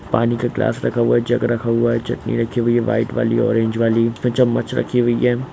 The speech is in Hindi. पानी का ग्लास रखा हुआ है जग रखा हुआ है चटनी रखी हुई है व्हाइट वाली ऑरेंज वाली चम्मच रखी हुई है।